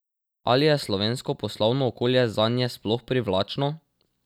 Ali je slovensko poslovno okolje zanje sploh privlačno?